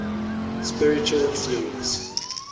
spiritual theories